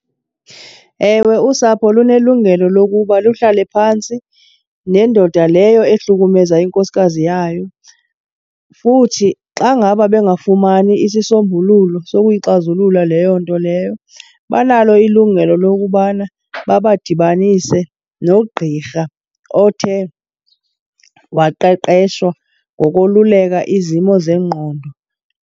Ewe, usapho lunelungelo lokuba luhlale phantsi nendoda leyo ehlukumeza inkosikazi yayo. Futhi xa ngaba bengafumani isisombululo sokuyixazulula leyo nto leyo, banalo ilungelo lokubana babadibanise nogqirha othe waqeqeshwa ngokoluleka izimo zengqondo.